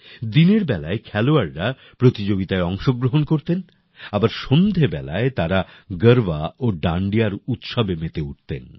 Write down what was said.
দিনের বেলায় খেলোয়াড়রা প্রতিযোগিতায় অংশগ্রহণ করতেন আবার সন্ধ্যেবেলায় তারা গারবা ও ডান্ডিয়ার উৎসবে মেতে উঠতেন